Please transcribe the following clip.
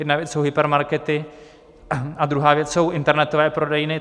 Jedna věc jsou hypermarkety a druhá věc jsou internetové prodejny.